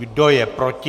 Kdo je proti?